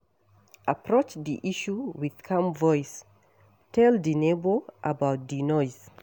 Approach di issue with calm voice, tell di neighbour about di noise